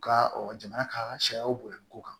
U ka jamana ka sariyaw bonya ko kan